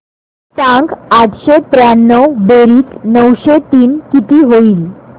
सांग आठशे त्र्याण्णव बेरीज नऊशे तीन किती होईल